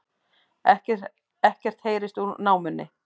Ekkert heyrst úr námunni